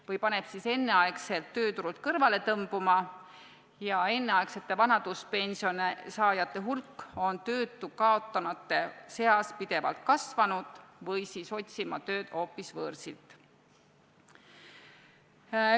Või paneb siis enneaegselt tööturult kõrvale tõmbuma – enneaegsete vanaduspensioni saajate hulk on töö kaotanute seas pidevalt kasvanud – või siis otsima tööd hoopis võõrsilt.